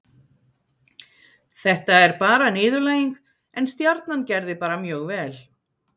Þetta er bara niðurlæging, en Stjarnan gerði bara mjög vel.